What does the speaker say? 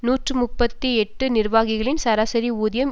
நூற்றி முப்பத்தி எட்டு நிர்வாகிகளின் சராசரி ஊதியம்